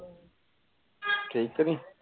ਕਈ ਤੇ ਨਾਈ